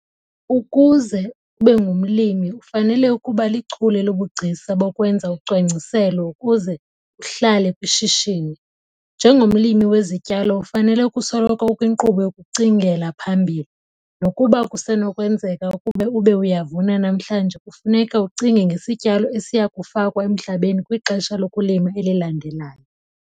Ukuze ube ngumlimi ufanele ukuba lichule lobugcisa bokwenza ucwangciselo ukuze uhlale kwishishini! Njengomlimi wezityalo ufanele ukusoloko ukwinkqubo yokucingela phambili. Nokuba kusenokwenzeka ukuba ube uyavuna namhlanje kufuneka ucinge ngesityalo esiya kufakwa emhlabeni kwixesha lokulima elilandelayo.